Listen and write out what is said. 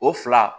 O fila